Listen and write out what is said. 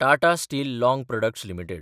Tata steel long products limited